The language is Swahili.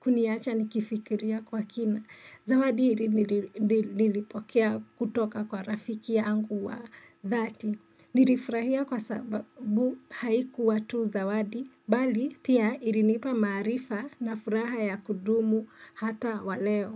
kuniacha nikifikiria kwa kina. Zawadi nilipokea kutoka kwa rafiki yangu wa dhati. Nilifurahia kwa sababu haikuwa tu zawadi, bali pia ilinipa maarifa na furaha ya kudumu hata waleo.